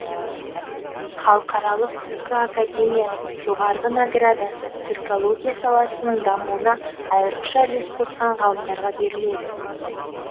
халықаралық түркі академиясының жоғарғы наградасы түркология саласының дамуына айрықша үлес қосқан ғалымдарға беріледі